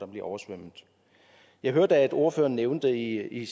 bliver oversvømmet jeg hørte at ordføreren nævnte i